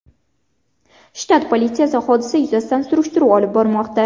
Shtat politsiyasi hodisa yuzasidan surishtiruv olib bormoqda.